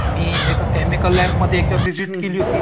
आणि एका केमिकल लॅबमध्ये एकदा विझिट केली होती.